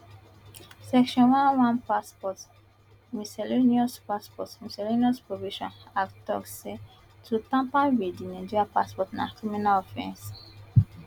section one one passport miscellaneous passport miscellaneous provisions act tok say to tamper wit di nigerian passport na criminal offence